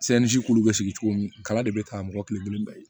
k'ulu bɛ sigi cogo min kala de bɛ taa mɔgɔ kelen kelen bɛɛ ye